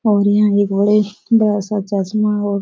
और यहाँ एक बड़े बड़ा सा चश्मा और --